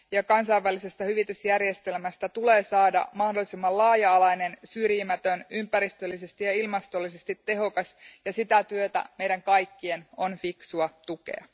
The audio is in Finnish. Kansainvälisestä hyvitysjärjestelmästä tulee saada mahdollisimman laaja alainen, syrjimätön, ympäristöllisesti ja ilmastollisesti tehokas, ja sitä työtä meidän kaikkien on fiksua tukea.